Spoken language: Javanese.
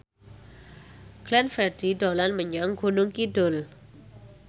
Glenn Fredly dolan menyang Gunung Kidul